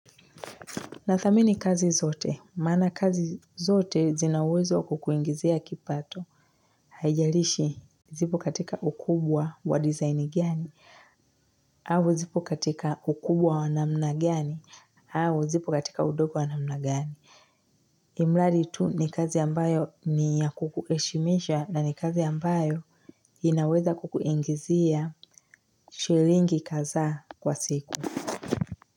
Nathamini kazi zote, maana kazi zote zina uwezo wa kukuingizia kipato. Haijalishi zipo katika ukubwa wa design gani, au zipo katika ukubwa wa namna gani, au zipo katika udogo wa namna gani. Ilimladi tu ni kazi ambayo ni ya kukuheshimisha na ni kazi ambayo inaweza kukuingizia shilingi kadhaa kwa siku.